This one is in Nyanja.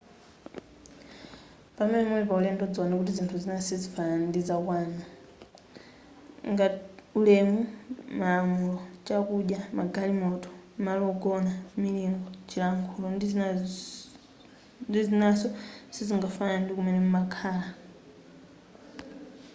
pamene muli pa ulendo dziwani kuti zinthu zina sizifanana ngati za kwanu ulemu malamulo chakudya magalimoto malo ogona milingo chilankhulo ndi zinaso sizingafanane ndi kumene mumakhala